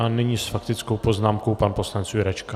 A nyní s faktickou poznámkou pan poslanec Jurečka.